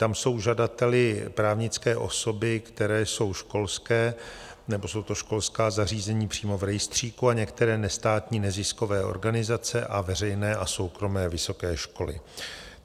Tam jsou žadateli právnické osoby, které jsou školské, nebo jsou to školská zařízení přímo v rejstříku a některé nestátní neziskové organizace a veřejné a soukromé vysoké školy.